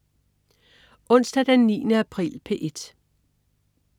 Onsdag den 9. april - P1: